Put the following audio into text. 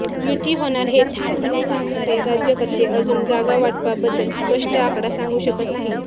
युती होणार हे ठामपणे सांगणारे राज्यकर्ते अजून जागा वाटपाबद्दल स्पष्ट आकडा सांगू शकत नाहीत